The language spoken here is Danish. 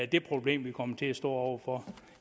det problem vi kommer til at stå over for